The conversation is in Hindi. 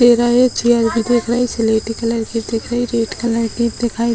टेढ़ा है चेयर भी दिख रहे सीलेटी कलर की दिख रहे रेड कलर की दिखाई--